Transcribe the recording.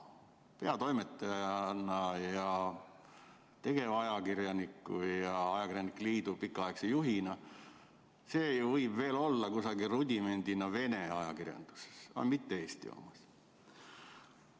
Peatoimetaja, tegevajakirjaniku ja ajakirjanike liidu pikaaegse juhina seda võib veel olla rudimendina kusagil Vene ajakirjanduses, aga mitte Eesti omas.